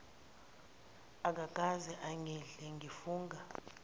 akakaze angidle ngifunga